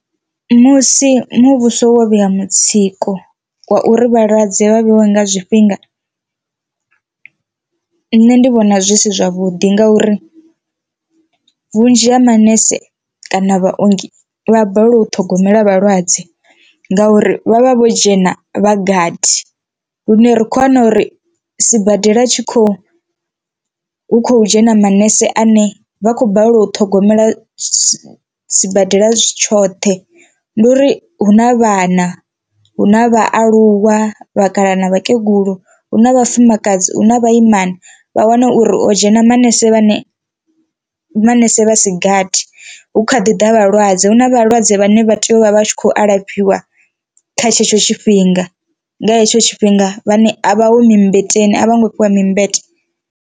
Musi muvhuso wo vhea mutsiko wa uri vhalwadze vha vheiwe nga zwifhinga nṋe ndi vhona zwi si zwavhuḓi ngauri vhunzhi ha manese kana vhaongi vha balelwa u ṱhogomela vhalwadze ngauri vhavha vho dzhena vhagathi, lune rikho wana uri sibadela tshi khou hu kho dzhena manese ane vha khou balelwa u ṱhogomela sibadela tshoṱhe. Ndi uri hu na vhana hu na vhaaluwa vhakalaha na vhakegulu hu na vhafumakadzi huna vhaimana vha wane uri o dzhena manese vhane manese vhasigathi hu kha ḓi ḓa vhalwadze huna vhalwadze vhane vha tea u vha vha tshi khou alafhiwa kha tshetsho tshifhinga nga hetsho tshifhinga vhane a vha ho mi mmbeteni a vhongo fhiwa mi mmbete.